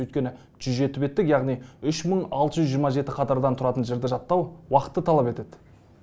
өйткені жүз жеті беттік яғни үш мың алты жүз жирыма жеті қатардан тұратын жырды жаттау уақытты талап етеді